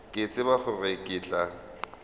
ke tsebe gore ke tla